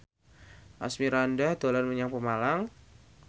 Asmirandah dolan menyang Pemalang